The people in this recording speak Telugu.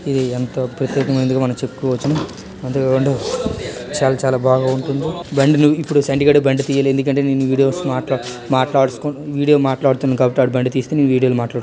ఇది ఎంతో ప్రసిద్ధగా మనం చెప్పుకోవచ్చును అంతే కాకుండా చాల చాలా భాగా ఉంటుంది. బండి ను ఇప్పుడు చంటి గాడు తీయాలి ఎందుకంటే నేను ఈ వీడియో మాట్ మాట్లాడాస్ వీడియో మాట్లాడుతున్న కాబట్టి వాడు బండి తెస్తే నేను వీడియో మాట్ --